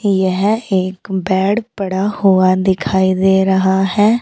यह एक बेड पड़ा हुआ दिखाई दे रहा है।